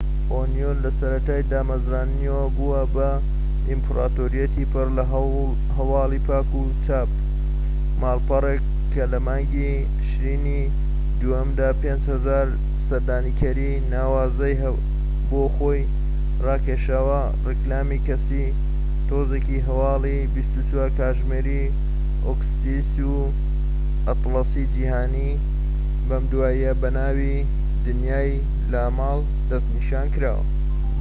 ئۆنیۆن لەسەرەتای دامەزراندنییەوە بووە بە ئیمپراتۆریەتی پڕلە هەواڵی پاک و چاپ ماڵپەڕێک کە لە مانگی ترشینی دووەمدا 5000هەزار سەردانیکەری ناوازەی بۆ خۆی ڕاکێشاوە ڕیکلامی کەسی تۆڕێکی هەواڵی 24 کاتژمێری ئۆکستیک ئەتڵەسی جیهانی بەم دواییانە بەناوی دنیای لاڵمان دەست پێکراوە